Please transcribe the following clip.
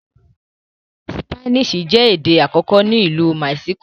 Spanish jé èdè àkókò ní Ilú Mexico.